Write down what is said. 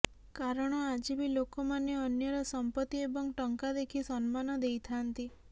କାରଣ ଆଜି ବି ଲୋକମାନେ ଅନ୍ୟର ସଂପତ୍ତି ଏବଂ ଟଙ୍କା ଦେଖି ସମ୍ମାନ ଦେଇଥାନ୍ତି